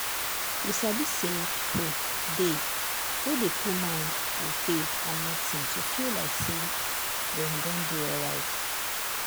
you sabi say people dey wey dey put mind on faith and medicine to feel like say dem don dey alright.